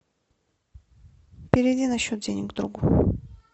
переведи на счет денег другу